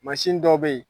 Mansin dɔw bɛ yen